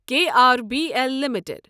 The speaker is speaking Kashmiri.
K R B L limited